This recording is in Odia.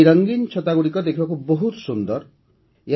ଏହି ରଙ୍ଗୀନ ଛତାଗୁଡ଼ିକ ଦେଖିବାକୁ ବହୁତ ସୁନ୍ଦର ହୋଇଥାଏ